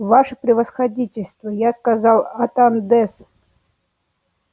ваше превосходительство я сказал атандес